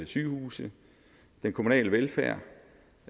sygehuse og den kommunale velfærd